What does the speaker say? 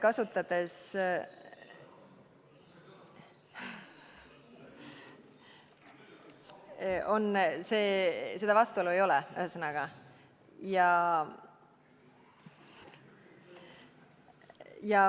Seda vastuolu ei ole, ühesõnaga.